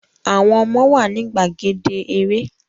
Àwọn ọmọ wa ni gbàgede eré